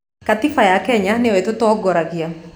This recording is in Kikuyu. Gatiiba ya Kenya nĩyo ĩtũtongoragia